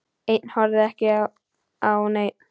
Ein horfði ekki á neinn.